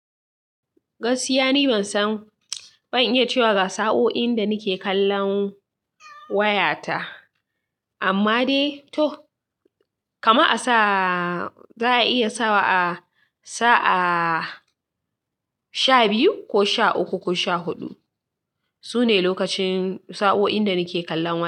Gaskiya ni ban san, ban iya cewa ga sa'oin da nake kallon wayata, amma dai to kama a sa za a iya sa wa'a sa'a shabiyu sha uku ko sha hudu.